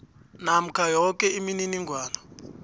namkha yoke imininingwana